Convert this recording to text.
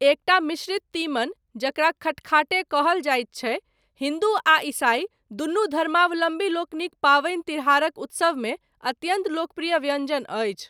एकटा मिश्रित तीमन, जकरा खटखाटे कहल जाइत छैक, हिन्दू आ ईसाइ, दुनू धर्मावलम्बीलोकनिक पाबनि तिहारक उत्सवमे अत्यन्त लोकप्रिय व्यञ्जजन अछि।